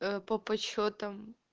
по подсчётам